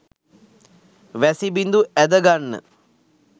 වැසිබිඳු ඇද ගන්න